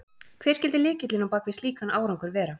Hver skyldi lykillinn á bak við slíkan árangur vera?